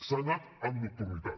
s’ha anat amb nocturnitat